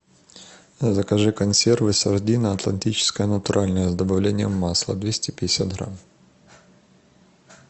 закажи консервы сардина атлантическая натуральная с добавлением масла двести пятьдесят грамм